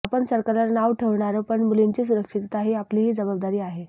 आपण सरकारला नावं ठेवणार पण मुलींची सुरक्षितता ही आपलीही जबाबदारी आहे